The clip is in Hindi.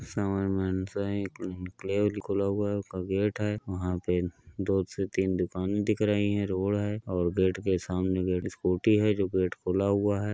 सामने में एन्क्लेव खुला हुआ है। उका गेट है। वहा पे दो से तीन दुकाने दिख रही है। रोड है और गेट के सामने एक स्कूटी है जो गेट खुला हुआ है।